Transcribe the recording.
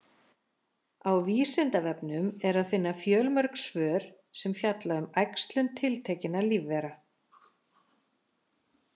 Á Vísindavefnum er að finna fjölmörg svör sem fjalla um æxlun tiltekinna lífvera.